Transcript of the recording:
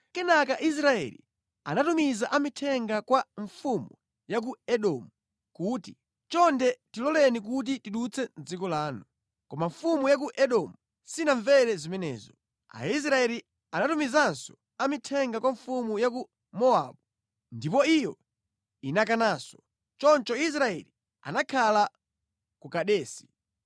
Kenaka Israeli anatumiza amithenga kwa mfumu ya ku Edomu kuti, ‘Chonde tiloleni kuti tidutse mʼdziko lanu,’ Koma mfumu ya ku Edomu sinamvere zimenezo. Aisraeli anatumizanso amithenga kwa mfumu ya ku Mowabu, ndipo iyo inakananso. Choncho Israeli anakhala ku Kadesi.